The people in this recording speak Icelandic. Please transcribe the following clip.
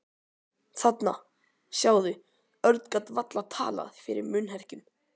Þarna, sjáðu. Örn gat varla talað fyrir munnherkjum.